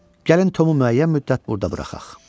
Gəlin Tomu müəyyən müddət burda buraxaq.